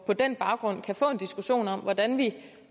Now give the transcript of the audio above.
den baggrund kan få en diskussion om hvordan vi